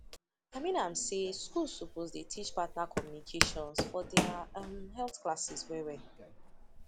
i mean am say schools suppose dey teach partner communication for their um health classes well well